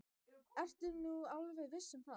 Ertu nú alveg viss um það.